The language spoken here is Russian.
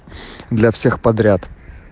для всех подряд